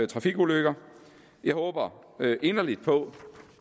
trafikulykker jeg håber inderligt på